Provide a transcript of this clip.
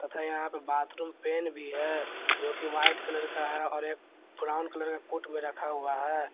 तथा यहां पे बाथरूम पेन भी है जो कि व्हाइट कलर का है और एक ब्राउन कलर के कोट में रखा हुआ है।